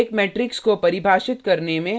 एक मेट्रिक्स को परिभाषित करने में